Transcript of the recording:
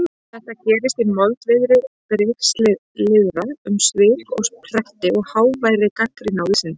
Þetta gerist í moldviðri brigslyrða um svik og pretti og háværri gagnrýni á vísindin.